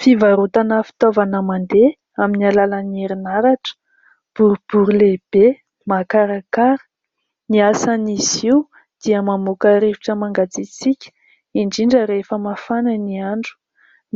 Fivarotana fitaovana mandeha aminy alalan'ny herinaratra. Boribory lehibe, makarakara. Ny asan'izy io, dia mamoaka rivotra mangatsitsika, indrindra rehefa mafana ny andro.